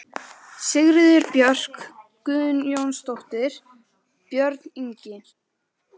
Sigríður Björk Guðjónsdóttir: Björn Ingi?